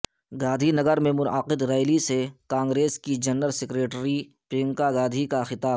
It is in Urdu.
گاندھی نگر میں منعقد ریلی سے کانگریس کی جنرل سکریٹری پرینکا گاندھی کا خطاب